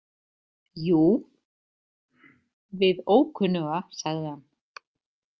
Jú, við ókunnuga, sagði hann.